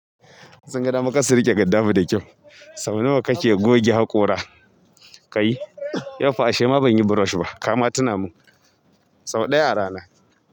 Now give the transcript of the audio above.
Sun ga dama kassu riƙe gaddafu da kyau. Sau nawa kake goge haƙora kai? Yau fa ashe ma ban yi brush ba. Kama tuna mun. Sau ɗaya rana.